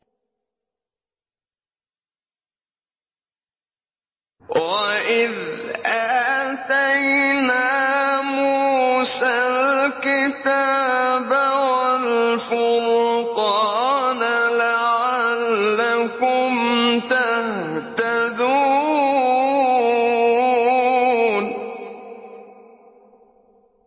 وَإِذْ آتَيْنَا مُوسَى الْكِتَابَ وَالْفُرْقَانَ لَعَلَّكُمْ تَهْتَدُونَ